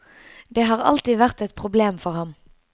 Det har alltid vært et problem for ham.